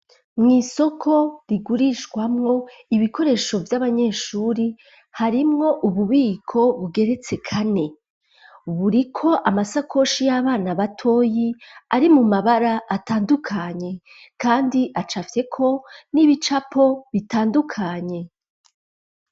Mw'isoko rigurishwamwo ibikoresho by'abanyeshuri harimwo ububiko bugeretse kane buriko amasakoshi y'abana batoyi ari mu mabara atandukanye kandi acafite ko n'ibicapo bitandukanye.